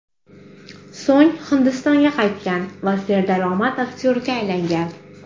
So‘ng Hindistonga qaytgan va serdaromad aktyorga aylangan.